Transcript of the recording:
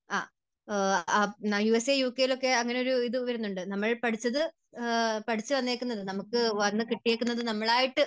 US A, UK യിൽ ഒക്കെ അങ്ങനെയൊരു ഇതു വരുന്നുണ്ട്. നമ്മൾ പഠിച്ചത്, പഠിച്ച് വന്നിരിക്കുന്നത്, നമുക്ക് വന്നു കിട്ടിയിരിക്കുന്നത് നമ്മളായിട്ട്